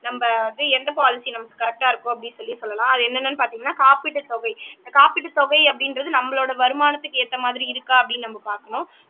நம்ம வந்து எந்த பாலிசி நமக்கு கரெக்டா இருக்கும் அப்படின்னு சொல்லி சொல்லலாம் அது என்னென்னன்னு பாத்தீங்கன்னா காப்பீட்டு தொகை காப்பீட்டு தொகை அப்படின்றது நம்மளோட வருமானத்துக்கு ஏத்த மாதிரி இருக்கா அப்படின்னு நம்ம பாக்கணும்